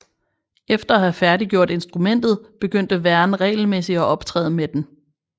Efter at have færdiggjort instrumentet begyndte Verne regelmæssigt at optræde med den